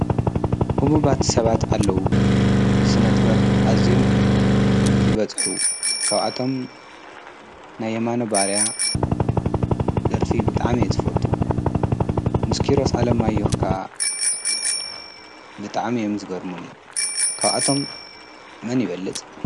ህቡባት ሰባት ኣለዉ ብስነ ጥበብ ኣዚኦም ብዝበጽሑ ካብኣቶም ናየማኖ ባርያ ደርፊ ብጥዓም እየ ዝፈቱ ምስኪሮስ ዓለም ኣዮኅካ ብጥዓም እየምዝጐርሙኒ ካብኣቶም መን ይበልጽ?